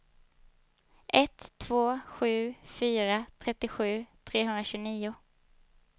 ett två sju fyra trettiosju trehundratjugonio